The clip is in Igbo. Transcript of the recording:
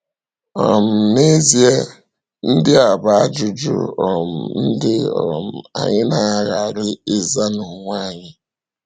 um N’eziè, ndị a bụ ajụjụ um ndị um anyị na-aghàrị ịzà n’onwe anyị.